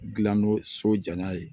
Gilan nɔ so ja n'a ye